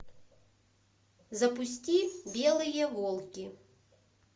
запусти белые волки